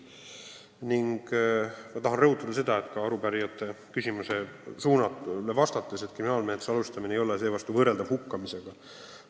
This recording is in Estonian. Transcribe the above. Pidades silmas arupärijate küsimuse suunda, tahan rõhutada ka seda, et kriminaalmenetluse alustamine ei ole võrreldav hukkamisega.